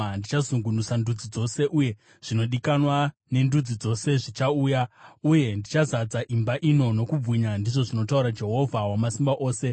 Ndichazungunusa ndudzi dzose, uye zvinodikanwa nendudzi dzose zvichauya, uye ndichazadza imba ino nokubwinya,’ ndizvo zvinotaura Jehovha Wamasimba Ose.